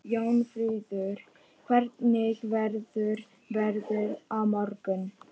Jónfríður, hvernig verður veðrið á morgun?